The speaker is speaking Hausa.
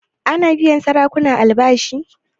Ana biyan sarakuna albashi?